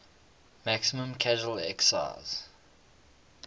maximum casual excise